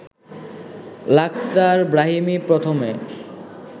Lakhdar Brahimi প্রথমে